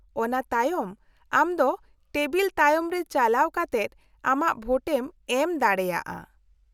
-ᱚᱱᱟ ᱛᱟᱭᱚᱢ, ᱟᱢ ᱫᱚ ᱴᱮᱵᱤᱞ ᱛᱟᱭᱚᱢ ᱨᱮ ᱪᱟᱞᱟᱣ ᱠᱟᱛᱮᱫ ᱟᱢᱟᱜ ᱵᱷᱳᱴᱮᱢ ᱮᱢ ᱫᱟᱲᱮᱭᱟᱜᱼᱟ ᱾